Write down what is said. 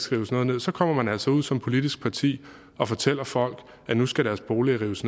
rives noget ned så kommer man altså ud som politisk parti og fortæller folk at nu skal deres boliger rives